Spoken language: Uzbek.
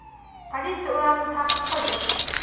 Politsiya ularni ta’qib qilgan.